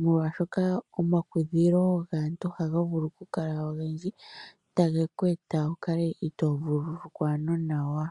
Molwaashoka omakukudhilo gaantu oha ga vulu okukala ogendji tage ku eta wukale ito vululukwa nawa.